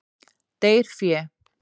Deyr fé.